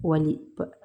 Wali